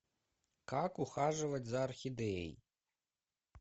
как ухаживать за орхидеей